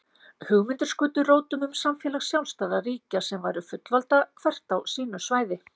Hugmyndir skutu rótum um samfélag sjálfstæðra ríkja sem væru fullvalda hvert á sínu svæði.